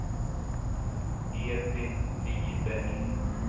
Edvin Viberg